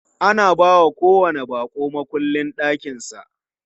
Ana bawa kowanni baƙo mukullin ɗakin sa.